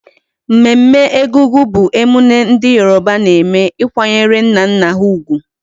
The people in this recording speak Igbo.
Mmemme Egungun bu emune ndi Yoruba na eme ikwanyere nna nna ha ugwu